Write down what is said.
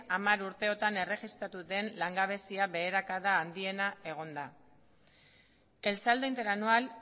hamar urteotan erregistratu den langabezia beherakada handiena egon da el saldo interanual